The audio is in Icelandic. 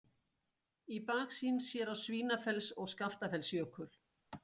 Í baksýn sér á Svínafells- og Skaftafellsjökul.